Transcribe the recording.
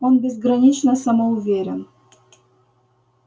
он безгранично самоуверен